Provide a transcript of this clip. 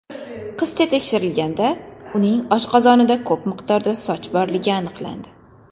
Qizcha tekshirilganida, uning oshqozonida ko‘p miqdorda soch borligi aniqlandi.